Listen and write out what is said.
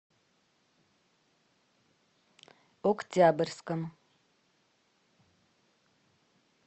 октябрьском